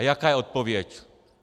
A jaká je odpověď?